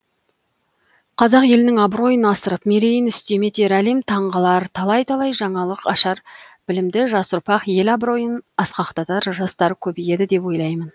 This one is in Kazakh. қазақ елінің абыройын асырып мерейін үстем етер әлем таңғалар талай талай жаңалық ашар білімді жас ұрпақ ел абыройын асқақтатар жастар көбейеді деп ойлаймын